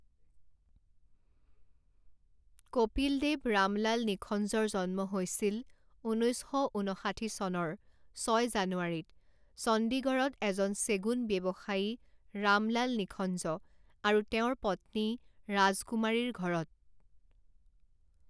কপিলদেৱ ৰামলাল নিখঞ্জৰ জন্ম হৈছিল ঊনৈছ শ ঊন্নষাঠি চনৰ ছয় জানুৱাৰীত চণ্ডিগড়ত এজন চেগুন ব্যৱসায়ী ৰাম লাল নিখঞ্জ আৰু তেওঁৰ পত্নী ৰাজকুমাৰীৰ ঘৰত।